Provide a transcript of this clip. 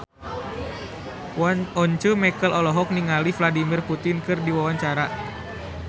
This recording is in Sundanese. Once Mekel olohok ningali Vladimir Putin keur diwawancara